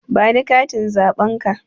Ba ni katin zaɓen ka!